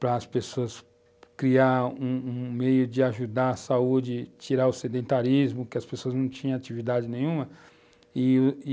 para as pessoas criar um um meio de ajudar a saúde, tirar o sedentarismo, porque as pessoas não tinham atividade nenhuma e,